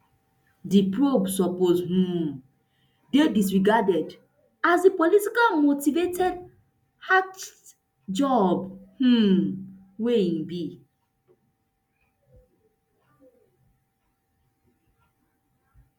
dis probe suppose um dey disregarded as di politically motivated hatchet job um wey e be